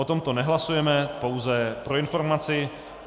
O tomto nehlasujeme, pouze pro informaci.